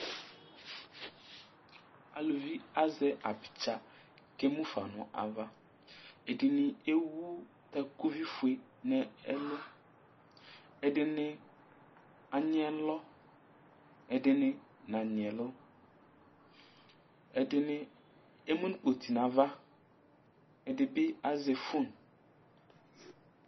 Aluvi azɛ abitsa kʋ ɛmʋfa ŋu ava Ɛɖìní ɛwu takʋvi fʋe ŋu ɛlu Ɛɖìní anyi ɛlɔ Ɛɖìní nanyi ɛlɔ Ɛɖiŋi emʋŋu kpoti ŋu ava Ɛɖìbí azɛ phone